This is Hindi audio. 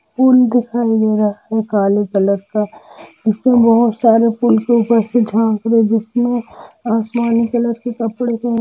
पूल दिखाई दे रहा है काले कलर का जिसमे बहुत सारे पूल के ऊपर से झाक रहे जिसमे आसमानी कलर के कपड़े पहेन--